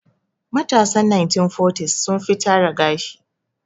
Matasan 1940s sun fi tara gashi.